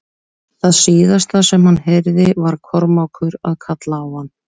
Það síðasta sem hann heyrði var Kormákur að kalla á hann.